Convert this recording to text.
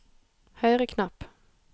høyre knapp